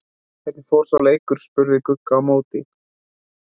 Hvernig fór sá leikur? spurði Gugga á móti.